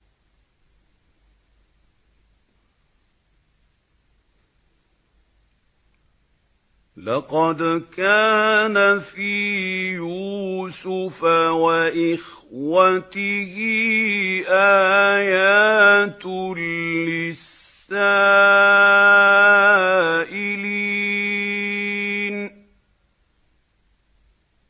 ۞ لَّقَدْ كَانَ فِي يُوسُفَ وَإِخْوَتِهِ آيَاتٌ لِّلسَّائِلِينَ